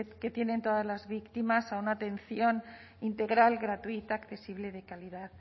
que tienen todas las víctimas a una atención integral gratuita accesible de calidad